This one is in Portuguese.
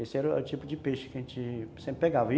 Esse era o tipo de peixe que a gente sempre pegava.